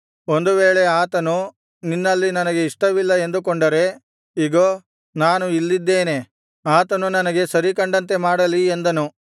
ಒಂದು ವೇಳೆ ಆತನು ನಿನ್ನಲ್ಲಿ ನನಗೆ ಇಷ್ಟವಿಲ್ಲ ಎಂದುಕೊಂಡರೆ ಇಗೋ ನಾನು ಇಲ್ಲಿದ್ದೇನೆ ಆತನು ತನಗೆ ಸರಿ ಕಂಡಂತೆ ಮಾಡಲಿ ಎಂದನು